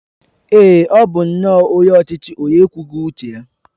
Èé, ọ bụ nnọọ onye ọchịchị onye ekwughị uche ya.